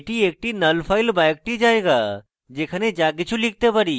এটি একটি নল file বা একটি জায়গা যেখানে যা কিছু লিখতে পারি